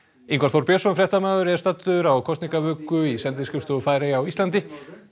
Ingvar Þór Björnsson fréttamaður er staddur á kosningavöku í sendiskrifstofu Færeyja á Íslandi